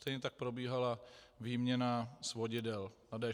Stejně tak probíhala výměna svodidel na D6.